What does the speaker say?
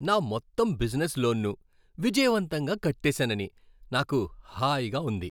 నా మొత్తం బిజినెస్ లోన్ను విజయవంతంగా కట్టేసానని నాకు హాయిగా ఉంది.